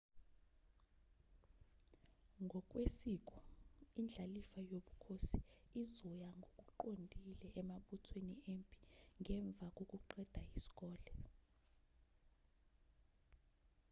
ngokwesiko indlalifa yobukhosi izoya ngokuqondile emabuthweni empi ngemva kokuqeda isikole